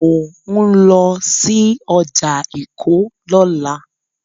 Mò ń lọ sí ọjà Èkó lọ́la.